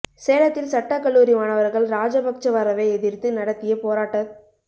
சேலத்தில் சட்டக் கல்லூரி மாணவர்கள் ராஜபக்ச வரவை எதிர்த்து நடத்திய போராட்டத்